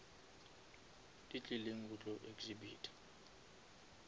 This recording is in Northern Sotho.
di tlileng go tlo exhibita